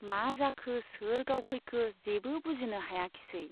मा जाखो , सोर गावफैखो जेबो बुजिनो हायाखिसै।